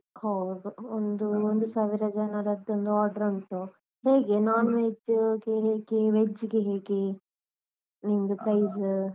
ಒಂದು ಒಂದು ಸಾವಿರ ಜನರದ್ದು ಒಂದು order ಉಂಟು, ಹೇಗೆ non veg ಗೆ ಹೇಗೆ? veg ಗೆ ಹೇಗೆ? ನಿಮ್ದು price